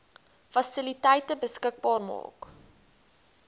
fasiliteite beskikbaar maak